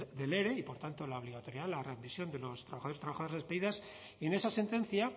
del ere y por tanto la obligatoriedad la readmisión de los trabajadores y trabajadoras despedidas en esa sentencia